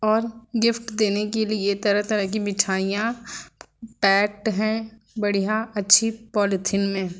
और गिफ्ट देने के लिए तरह-तरह की मिठाइयां पैकड है बढ़िया अच्छी पॉलिथीन में।